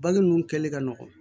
Bagn ninnu kɛlen ka nɔgɔn